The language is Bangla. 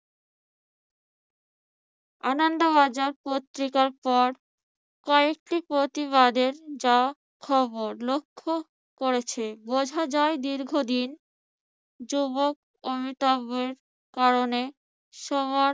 আনন্দ বাজার পত্রিকার পর কয়েকটি প্রতিবাদের যা খবর লক্ষ্য করেছে। বোঝা যায় দীর্ঘদিন যুবক অমিতাভ্যর কারণে সবার